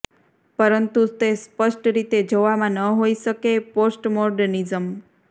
પરંતુ તે સ્પષ્ટ રીતે જોવામાં ન હોઈ શકે પોસ્ટમોર્ડનિઝમ